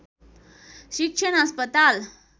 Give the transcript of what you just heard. शिक्षण अस्पताल